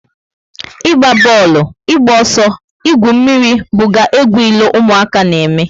Ịgba booolu, ịgba ọsọ, igwu mmírí buga egwu ilo ụmụaka na eme